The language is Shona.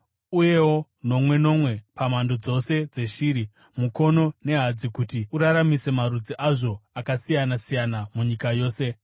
uyewo nomwe nomwe pamhando dzose dzeshiri, mukono nehadzi, kuti uraramise marudzi azvo akasiyana-siyana munyika yose.